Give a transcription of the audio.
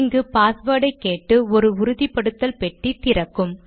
இங்கு பாஸ்வேர்டை கேட்டு ஒரு உறுதிபடுத்தல் பெட்டி திறக்கும்